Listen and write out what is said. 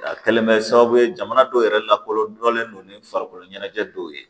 A kɛlen bɛ kɛ sababu ye jamana dɔw yɛrɛ lakɔlɔdɔnnen don ni farikolo ɲɛnajɛ dɔw ye